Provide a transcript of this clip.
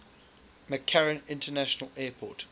mccarran international airport